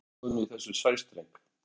Atlantshafinu í þessum sæstreng.